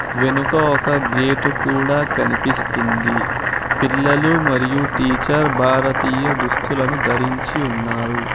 వెనుక ఒక గేటు కూడా కనిపిస్తుంది పిల్లలు మరియు టీచర్ భారతీయ దుస్తులను ధరించి ఉన్నారు.